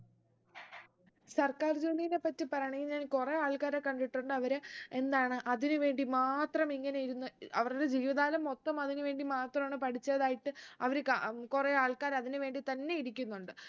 സർക്കാർ ജോലിനെ പറ്റി പറയാണെങ്കിൽ ഞാൻ കുറെ ആൾക്കാരെ കണ്ടിട്ടുണ്ട് അവരെ എന്താണ് അതിന് വേണ്ടി മാത്രം ഇങ്ങനെ ഇരുന്ന് അവരുടെ ജീവിതകാലം മൊത്തം അതിന് വേണ്ടി മാത്രാണ് പഠിച്ചതായിട്ട് അവര് ക ഉം കുറേ ആള്‍ക്കാര് അതിന് വേണ്ടി തന്നെ ഇരിക്കുന്നുണ്ട്